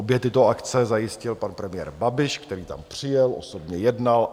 Obě tyto akce zajistil pan premiér Babiš, který tam přijel, osobně jednal.